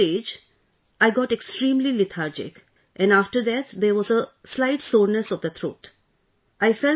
In the initial stage, I got extremely lethargic and after that there was a slight soreness of the throat